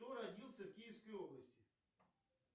кто родился в киевской области